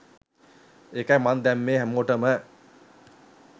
ඒකයි මං දැම්මේ හැමෝටම